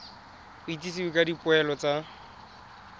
go itsisiwe ka dipoelo tsa